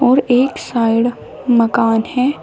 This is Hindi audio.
और एक साइड मकान है।